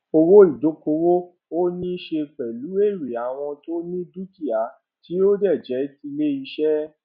owó ìdókòwò ó níí ṣe pèlú èrè àwọn tó ni dúkìá tí ó jé tilé iṣé